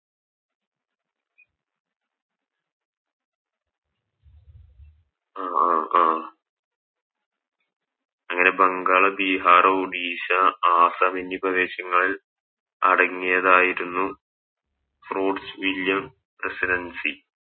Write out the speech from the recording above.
അഹ് അഹ് അങ്ങനെ ബംഗാള് ബീഹാർ ഒഡിഷ ആസ്സാം എന്നീ പ്രദേശങ്ങൾ അടങ്ങിയതായിരുന്നു Roads willoum residency